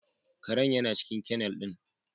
Karen yana cikin kennel ɗin